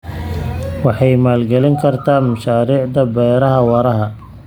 Waxay maalgelin kartaa mashaariicda beeraha waara.